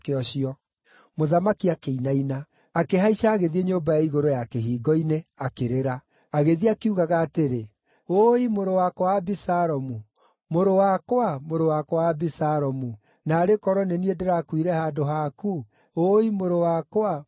Mũthamaki akĩinaina. Akĩhaica, agĩthiĩ nyũmba ya igũrũ ya kĩhingo-inĩ, akĩrĩra. Agĩthiĩ akiugaga atĩrĩ, “Ũũi mũrũ wakwa Abisalomu! Mũrũ wakwa, mũrũ wakwa Abisalomu! Naarĩ korwo nĩ niĩ ndĩrakuire handũ haku, ũũi mũrũ wakwa, mũrũ wakwa!”